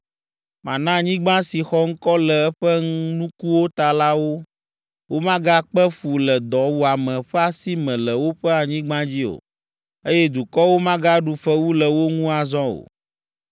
Mana anyigba si xɔ ŋkɔ le eƒe nukuwo ta la wo, womagakpe fu le dɔwuame ƒe asi me le woƒe anyigba dzi o, eye dukɔwo magaɖu fewu le wo ŋu azɔ o.